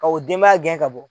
Ka o denbaya gɛn ka bɔ